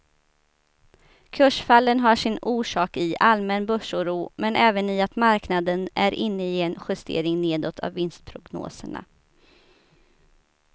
Kursfallen har sin orsak i allmän börsoro men även i att marknaden är inne i en justering nedåt av vinstprognoserna.